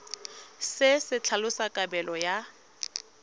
se se tlhalosang kabelo ya